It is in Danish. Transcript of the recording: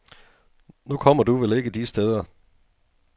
Nu kommer du vel ikke de steder.